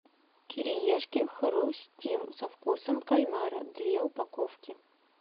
кириешки хрустим со вкусом кальмара две упаковки